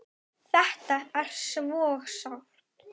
Þetta er svo sárt.